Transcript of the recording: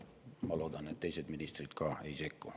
Ma loodan, et teised ministrid ka ei sekku.